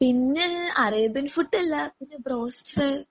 പിന്നെ Arabian food എല്ലാർക്കും broast